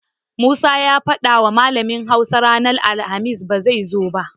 Musa ya fadawa malamin Hausa ranar alhamis na zai zo ba.